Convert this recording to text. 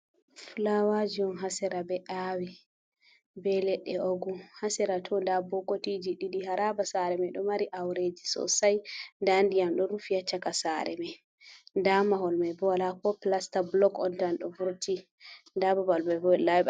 Flawaji on ha sera ɓe awi, be leɗɗe ogu. Ha sera to nda bokitiji ɗiɗi. Haraba sare mai ɗo mari aureji sosai. Nda ndiyam ɗo rufi ha chaka sare mai. Nda mahol mai be wala ko plasta. blok on tan ɗo vurti. Nda babal bo ɓe laiɓata.